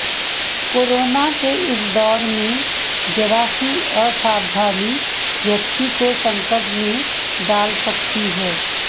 corona के इस दौर में जरा सी असावधानी व्यक्ति को संकट में डाल सकती है